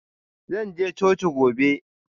Zan je coci gobe.